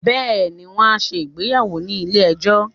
beeni, won a se ìgbéyàwò ni ile ejó